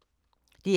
DR K